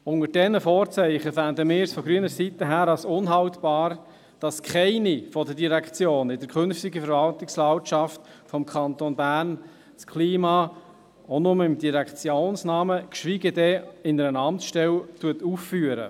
Unter diesen Vorzeichen fänden wir es von grüner Seite unhaltbar, dass keine der Direktionen in der künftigen Verwaltungslandschaft des Kantons Bern das Klima auch nur im Direktionsnamen, geschweige denn in einer Amtsstelle aufführt.